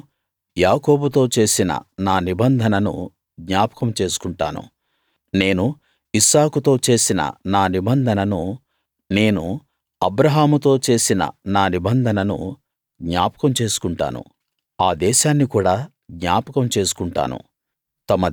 నేను యాకోబుతో చేసిన నా నిబంధనను జ్ఞాపకం చేసుకుంటాను నేను ఇస్సాకుతో చేసిన నా నిబంధనను నేను అబ్రాహాముతో చేసిన నా నిబంధనను జ్ఞాపకం చేసుకుంటాను ఆ దేశాన్ని కూడా జ్ఞాపకం చేసుకుంటాను